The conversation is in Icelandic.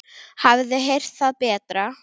Hafið þið heyrt það betra?